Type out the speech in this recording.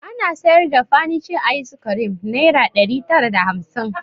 Ana sayar da fanice ayis kirim nayra ɗari tara da hamsin